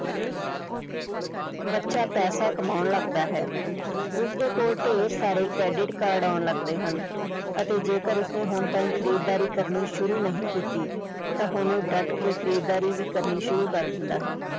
ਬੱਚਾ ਪੈਸਾ ਕਮਾਉਣ ਲੱਗਦਾ ਹੈ ਉਸਦੇ ਕੋਲ ਢੇਰ ਸਾਰੇ credit card ਆਉਣ ਲੱਗਦੇ ਹਨ ਅਤੇ ਜੇਕਰ ਉਸਨੇ ਹੁਣ ਤਾਈਂ ਖ਼ਰੀਦਦਾਰੀ ਕਰਨੀ ਸ਼ੁਰੂ ਨਹੀਂ ਕੀਤੀ ਤਾਂ ਹੁਣ ਉਹ ਡਟ ਕੇ ਖ਼ਰੀਦਦਾਰੀ ਵੀ ਕਰਨੀ ਸ਼ੁਰੂ ਕਰ ਦਿੰਦਾ ਹੈ।